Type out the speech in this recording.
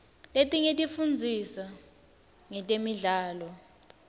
letinye tifundzisa ngetemidlao